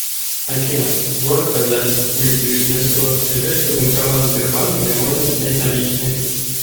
афина город казань улица вишневского ближайший банкомат сбербанк где можно снять наличные